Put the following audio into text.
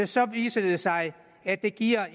så viser det sig at det giver